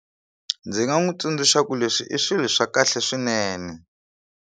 Ndzi nga n'wi tsundzuxa ku leswi i swilo swa kahle swinene.